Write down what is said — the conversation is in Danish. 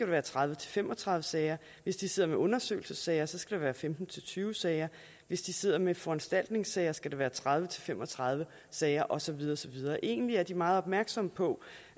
være tredive til fem og tredive sager hvis de sidder med undersøgelsessager skal det være femten til tyve sager hvis de sidder med foranstaltningssager skal det være tredive til fem og tredive sager og så videre og så videre egentlig er de meget opmærksomme på